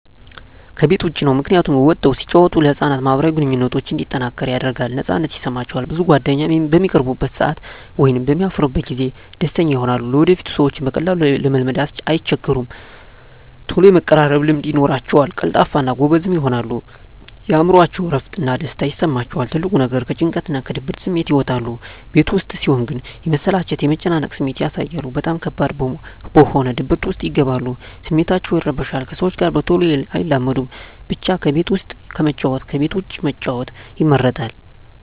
ከቤት ዉጭ ነዉ ምክንያቱም ወጠዉ ሲጫወቱ ለህፃናት ማህበራዊ ግንኙነቶች እንዲጠናከር ያደርጋል ነፃነት ይሰማቸዋል ብዙ ጓደኛም በሚቀርቡበት ሰአት ወይም በሚያፈሩበት ጊዜ ደስተኛ ይሆናሉ ለወደፊቱ ሰዎችን በቀላሉ ለመልመድ አይቸገሩም ተሎ የመቀራረብ ልምድ ይኖራቸዉል ቀልጣፋ እና ጎበዝም ይሆናሉ የእምሮአቸዉ እረፍት እና ደስታ ይሰማቸዋል ትልቁ ነገር ከጭንቀትና ከድብርት ስሜት ይወጣሉ ቤት ዉስጥ ሲሆን ግን የመሰላቸት የመጨነቅ ስሜት ያሳያሉ በጣም ከባድ በሆነ ድብርት ዉስጥ ይገባሉ ስሜታቸዉ ይረበሻል ከሰዎች ጋር በተሎ አይላመዱም ብቻ ከቤት ዉስጥ ከመጫወት ከቤት ዉጭ መጫወት ይመረጣል